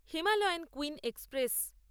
Himalayan queen express